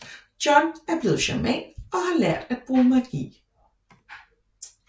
John er blevet shaman og har lært at bruge magi